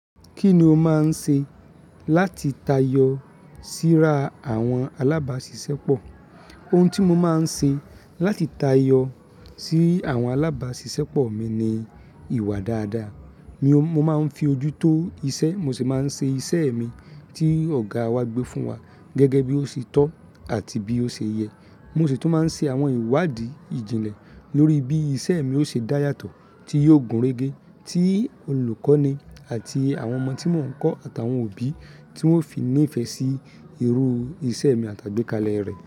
Kí ni o máa ń ṣe láti tayọ síra àwọn alábàáṣiṣẹ́ pọ̀? Ohun tí mo máa ń ṣe láti tayọ sí àwọn alábàáṣiṣẹ́ pọ̀ mi ni ìwà dáadáa. Mo máa ń fi ojú tó iṣẹ́, mo sì máa ń ṣe iṣẹ́ mi tí Ọ̀gá wa gbé fún wa gẹ́gẹ́ bí ó ṣe tọ́ àti bí ó ṣe yẹ. Mo sì tún máa ń ṣe àwọn ìwádìí ìjìnlẹ̀ lórí bí iṣẹ́ mi ó ṣe dá yàtọ̀ tí yóò gúnrégé tí olùkọ́ni àti àwọn ọmọ tí mò ń kọ́ àtàwọn òbí tí wọ́n fi ní ìfẹ́ sí irú iṣẹ́ mi àtàgbé kalẹ̀ rẹ̀.